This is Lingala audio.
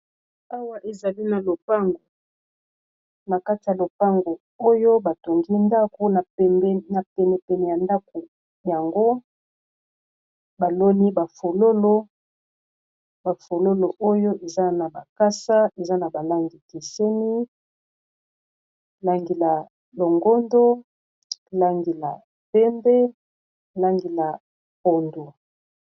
Awa tozali komona pot ya fololo ya kitoko ezali na coin ya ndaku. Epesi decoration kitoko.